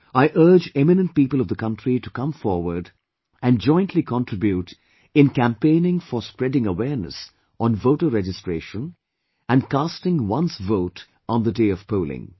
I urge eminent people of the country to come forward and jointly contribute in campaigning for spreading awareness on voter registration and casting one's vote on the day of polling